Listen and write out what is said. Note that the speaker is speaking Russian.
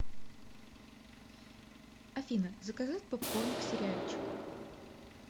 афина заказать попкорн к сериальчику